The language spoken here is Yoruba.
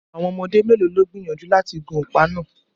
Àwọn ọmọdé mélòó ló gbìyànjú láti gun ọ̀pá náà